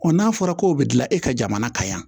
n'a fɔra ko bɛ dilan e ka jamana kan yan